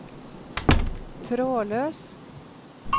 trådløs